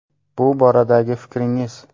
Bu boradagi fikringiz.